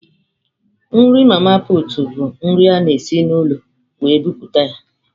Nri mama pụtụ bụ nri a na esi n'ụlọ wee buputa ya.